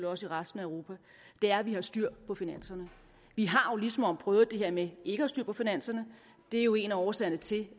også i resten af europa er at vi har styr på finanserne vi har jo ligesom prøvet det her med ikke at have styr på finanserne det er jo en af årsagerne til